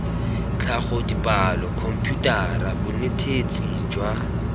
tlhago dipalo khomputara bonetetshi jwa